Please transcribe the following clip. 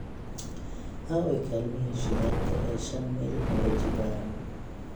aaway kaalmihii shidaalka ee shan mayl laba jibaaran